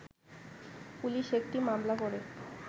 police একটি মামলা করে